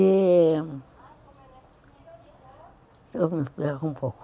E... um pouco.